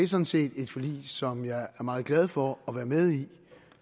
sådan set et forlig som jeg er meget glad for at være med i